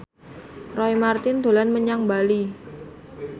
Roy Marten dolan menyang Bali